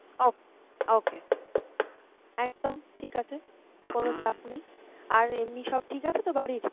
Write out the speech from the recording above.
ok~ okay, একদম ঠিক আছে, কোনো চাপ নেই আর এমনি সব ঠিক আছে তো বাড়ির?